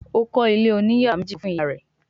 Ó kọ́ Ilé òní yàrá méjì kán fún ìyá rẹ̀